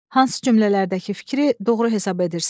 Hansı cümlələrdəki fikri doğru hesab edirsiniz?